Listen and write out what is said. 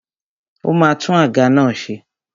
Ó ma tún àga náà ṣe.